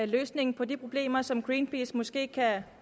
løsningen på de problemer som greenpeace måske kan